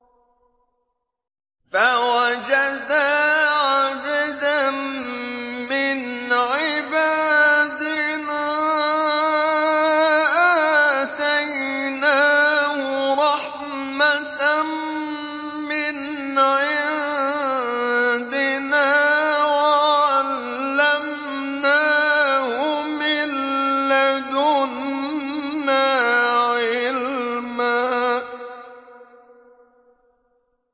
فَوَجَدَا عَبْدًا مِّنْ عِبَادِنَا آتَيْنَاهُ رَحْمَةً مِّنْ عِندِنَا وَعَلَّمْنَاهُ مِن لَّدُنَّا عِلْمًا